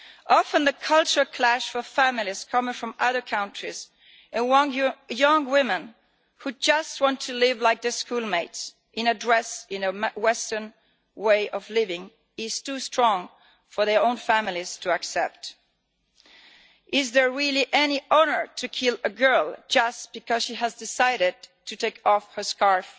Often the culture clash for families coming from other countries and young women who just want to live like their schoolmates, in a dress, in a western way of living is too strong for their own families to accept. Is there really any honour in killing a girl just because she has decided to take off her scarf?